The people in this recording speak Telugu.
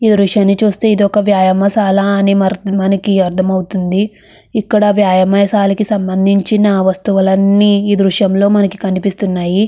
ఈ దృశ్యాన్ని చూస్తే ఇది ఒక వ్యాయామసాలా అని మనకి అర్థమవుతుంది. ఇక్కడ వ్యాయామయసానికి సంబంధించిన వస్తువులన్నీ ఈ దృశ్యంలో మనకి కనిపిస్తున్నాయి.